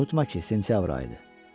Unutma ki, sentyabr ayıdır.